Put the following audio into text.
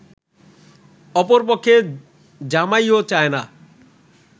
অপরপক্ষে জামাইও চায় না